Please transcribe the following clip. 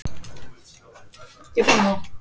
Þriðja eyðan.